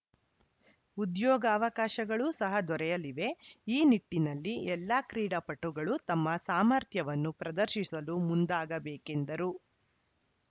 ಉದ್ಯೋಗಾವಕಾಶಗಳು ಸಹ ದೊರೆಯಲಿವೆ ಈ ನಿಟ್ಟಿನಲ್ಲಿ ಎಲ್ಲಾ ಕ್ರೀಡಾಪಟುಗಳು ತಮ್ಮ ಸಾಮರ್ಥ್ಯವನ್ನು ಪ್ರದರ್ಶಿಸಲು ಮುಂದಾಗಬೇಕೆಂದರು